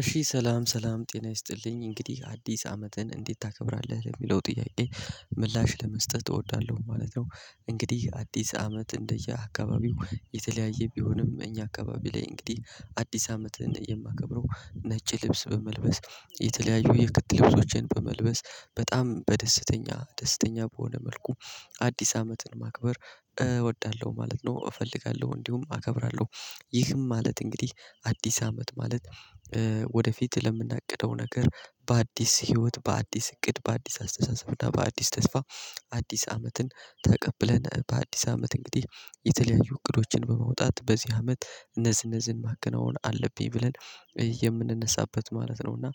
እሺ ሰላም ሰላም ጤና ይስጥልኝ እንግዲህ አዲስ አመትን እንዴት ታከብራለህ ለሚለው ጥያቄ ምላሽ ለመስጠት እወዳለሁ ማለት ነው። እንግዲህ አዲስ አመት እንደየአካባቢው የተለያየ ቢሆንም እኛ አካባቢ ላይ እንግዲህ አዲስ አመትነው የማከብረው ነጭ ልብስ በመልበስ የተለያዩ የክት ልብሶችን በመልበስ በጣም በደስተኛ ደስተኛ በሆነ መልኩ አዲስ አመትን ማክበር እወዳለሁ ማለት ነው። እፈልጋለሁ እንዲሁም አከብራለሁ። ይህም ማለት እንግዲህ አዲስ አመት ማለት ወደፊት ለምናቅደው ነገር በአዲስ ህይወት በአዲስ እቅድ በአዲስ አስተሳሰብ እና በአዲስ ተስፋ። አዲስ አመትን ተቀብለን በአዲስ አመት እንግዲህ የተለያዩ እቅዶችን በመውጣት በዚህ አመት እነዚህን ማከናወን አለብኝ ብለን የምንነሳበት ማለት ነው። እና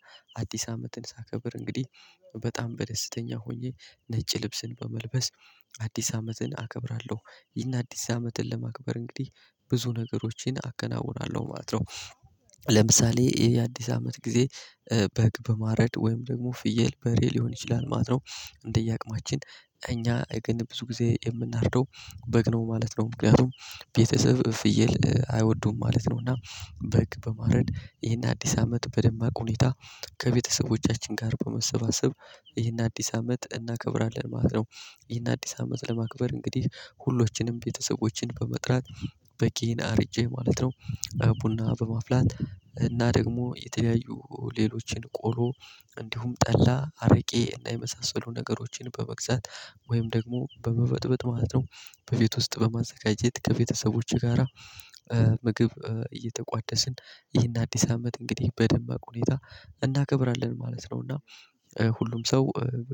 አዲስ አመትን ሳከብር እንግዲህ በጣም በደስተኛ ሆኜ ነጭ ልብስን በመልበስ አዲስ አመትን አከብራለሁ። ይህን አዲስ አመትን ለማክበር እንግዲህ ብዙ ነገሮችን አከናውናለሁ ማለት ነው። ለምሳሌ የአዲስ አመት ጊዜ በግ በማረድ ወይም ደግሞ ፍየል በሬ ሊሆን ይችላል ማለት ነው። እንደየአቅማችን እኛ ግን ብዙ ጊዜ የምናርደው በግ ነው ማለት ነው። ምክንያቱም ቤተሰብ ፍየል አይወዱም ማለት ነው። እና በግ በማረድ ይሄን አዲስ አመት በደማቅ ሁኔታ ከቤተሰቦቻችን ጋር በመሰባሰብ ይህን አዲስ አመት እናከብራለን ማለት ነው። ይህን አዲስ አመት ለማክበር እንግዲህ ሁሎችንም ቤተሰቦችን በመጥራት በጌን አርጄ ማለት ነው። ቡና በማፍላት እና ደግሞ የተለያዩ ሌሎችን ቆሎ እንዲሁም ጠላ አረቄ እና የመሳሰሉ ነገሮችን በመግዛት ወይም ደግሞ በመበጥበጥ ማለት ነው። በቤት ውስጥ በማዘጋጀት ከቤተሰቦቼ ጋራ ምግብ እየተቋደስን ይህን አዲስ አመት እንግዲህ በደንብ ሁኔታ እናከብራለን ማለት ነው። እና ሁሉም ሰው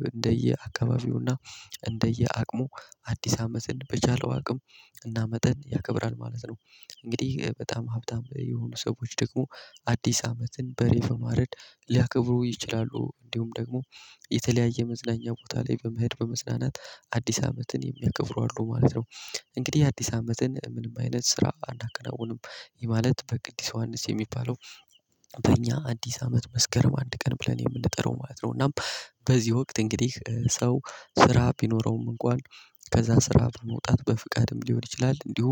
እንደየ አካባቢው እና እንደየ አቅሙ አዲስ አመትን በቻለው አቅም እና መጠን ያከብራል ማለት ነው። እንግዲህ በጣም ሀብታም የሆኑ ሰዎች ደግሞ አዲስ አመትን በሬ በማረድ ሊያከብሩ ይችላሉ እንዲሁም ደግሞ የተለያየ መዝናኛ ቦታ ላይ በመሄድ በመዝናናት አዲስ አመትን የሚያከብሩ አሉ ማለት ነው። እንግዲህ አዲስ አመትን ምንም አይነት ስራ አናከናውንም ይህ ማለት በቅድስት ዮሐንስ የሚባለው በእኛ አዲስ አመት መስከረም አንድ ቀን ብለን የምንጠራው ማለት ነው። እናም በዚህ ወቅት እንግዲህ ሰው ስራ ቢኖረውም እንኳን ከዛ ስራ መውጣት በፍቃድም ሊሆን ይችላል እንዲሁ።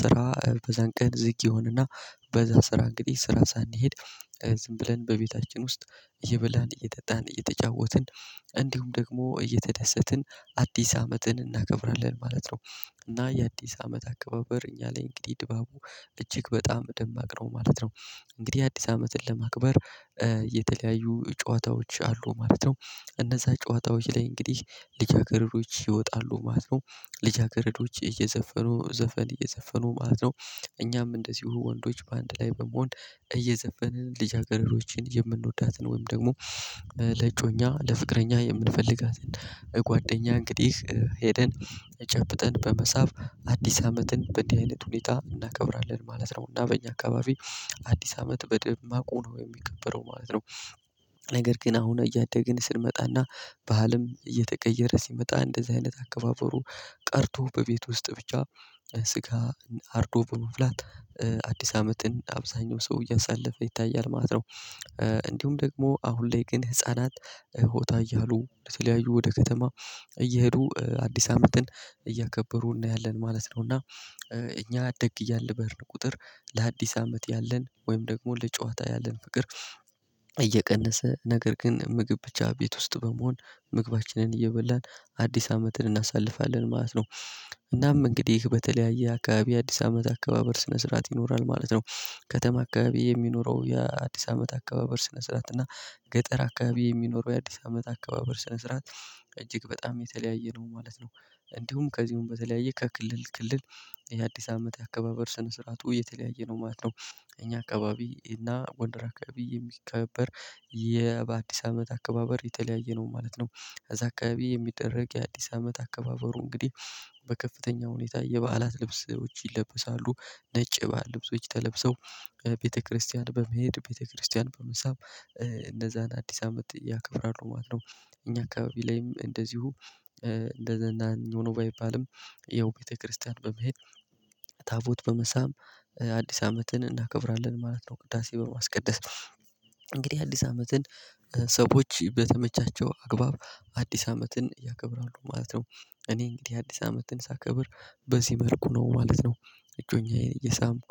ስራ በዛን ቀን ዝግ ይሆንና በዛ ስራ እንግዲህ ስራ ሳንሄድ ዝም ብለን በቤታችን ውስጥ እየበላን እየጠጣን እየተጫወትን እንዲሁም ደግሞ እየተደሰትን አዲስ አመትን እናገብራለን ማለት ነው። እና የአዲስ አመት አካባቢ እኛ ላይ እንግዲህ ድባቡ እጅግ በጣም ደማቅ ነው ማለት ነው። እንግዲህ አዲስ አመትን ለማቅበር የተለያዩ ጨዋታዎች አሉ ማለት ነው። እነዛ ጨዋታዎች ላይ እንግዲህ ልጅ አገረዶች ይወጣሉ ማለት ነው። ልጅ አገረዶች እየዘፈኑ ዘፈን እየዘፈኑ ማለት ነው። እኛም እንደዚሁ ወንዶች በአንድ ላይ በመሆን እየዘፈንን ልጅ አገረዶችን የምንወዳትን ወይም ደግሞ ለእጮኛ ለፍቅረኛ የምንፈልጋትን ጓደኛ እንግዲህ ሄደን ጨብጠን በመሳብ አዲስ አመትን በእንዲህ አይነት ሁኔታ እናከብራለን ማለት ነው። እና በእኛ አካባቢ አዲስ አመት በደማቁ ነው የሚከበረው ማለት ነው። ነገር ግን አሁን እያደግን ስንመጣና ባህልም እየተቀየረ ሲመጣ እንደዚህ አይነት አከባበሩ ቀርቶ በቤት ውስጥ ብቻ ስጋ አርዶ በመብላት አዲስ አመትን አብዛኛው ሰው እያሳለፈ ይታያል ማለት ነው። እንዲሁም ደግሞ አሁን ላይ ግን ህፃናት ሆታ እያሉ ለተለያዩ ወደ ከተማ እየሄዱ አዲስ አመትን እያከበሩ እናያለን ማለት ነው። እና እኛ አደግ እያልን በሄርን ቁጥር ለአዲስ አመት ያለን ወይም ደግሞ ለጨዋታ ያለን ፍቅር እየቀነሰ ነገር ግን ምግብ ብቻ ቤት ውስጥ በመሆን ምግባችንን እየበላን አዲስ አመትን እናሳልፋለን ማለት ነው። እናም እንግዲህ በተለያየ አካባቢ የአዲስ አመት አከባበር ስነ ስርዓት ይኖራል ማለት ነው። ከተማ አካባቢ የሚኖረው የአዲስ አመት አከባበር ስነ ስርዓት እና ገጠር አካባቢ የሚኖረው የአዲስ አመት አካባቢ ስነ ስርዓት እጅግ በጣም የተለያየ ነው ማለት ነው። እንዲሁም ከዚሁም በተለያየ ከክልል ክልል የአዲስ አመት አከባበር ስነ ስርዓቱ የተለያየ ነው ማለት ነው። እኛ አካባቢ እና ጎንደር አካባቢ የሚከበር በአዲስ አመት አከባበር የተለያየ ነው ማለት ነው። ከዛ አካባቢ የሚደረግ የአዲስ አመት አከባበሩ እንግዲህ በከፍተኛ ሁኔታ የበዓላት ልብሶች ይለበሳሉ ነጭ የበአል ልብሶች ተለብሰው ቤተክርስቲያን በመሄድ ቤተክርስቲያን በመሳም እነዛን አዲስ አመት ያከብራሉ ማለት ነው። እኛ አካባቢ ላይም እንደዚሁ እንደዛኛው ነው ባይባልም ያው ቤተክርስቲያን በመሄድ ታቦት በመሳም አዲስ አመትን እናከብራለን ማለት ነው። ቅዳሴ በማስቀደስ ነው። እንግዲህ አዲስ አመትን ሰዎች በተመቻቸው አግባብ አዲስ አመትን ያከብራሉ ማለት ነው። እኔ እንግዲህ አዲስ አመትን ሳከብር በዚህ መርኩ ነው ማለት ነው። እጮኛዬን እየሳምኩ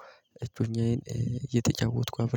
እጮኛዬን እየተጫወትኩ